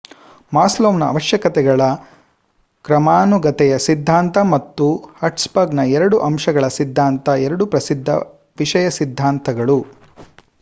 ಮಾಸ್ಲೊವ್‌ನ ಅವಶ್ಯಕತೆಗಳ ಕ್ರಮಾನುಗತೆಯ ಸಿದ್ದಾಂತ ಮತ್ತು ಹರ್ಟ್ಸ್‌ಬರ್ಗ್‌ನ ಎರಡು ಅಂಶಗಳ ಸಿದ್ದಾಂತ ಎರಡೂ ಪ್ರಸಿದ್ದ ವಿಷಯ ಸಿದ್ದಾಂತಗಳು